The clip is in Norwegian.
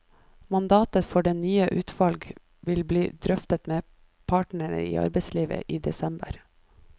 Mandatet for det nye utvalget vil bli drøftet med partene i arbeidslivet i desember.